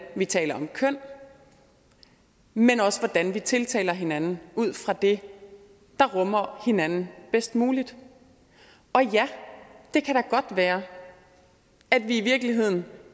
vi taler om køn men også hvordan vi tiltaler hinanden ud fra det der rummer hinanden bedst muligt og ja det kan da godt være at vi i virkeligheden